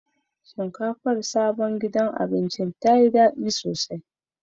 Shinkafar sabon gidan abincin ta yi daɗi sosai.